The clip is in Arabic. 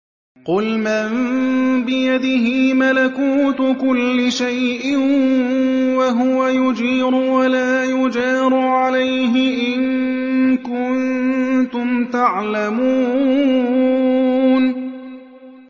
قُلْ مَن بِيَدِهِ مَلَكُوتُ كُلِّ شَيْءٍ وَهُوَ يُجِيرُ وَلَا يُجَارُ عَلَيْهِ إِن كُنتُمْ تَعْلَمُونَ